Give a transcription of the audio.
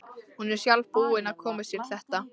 Hún er sjálf búin að koma sér í þetta.